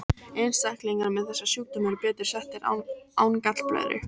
Einstaklingar með þessa sjúkdóma eru betur settir án gallblöðru.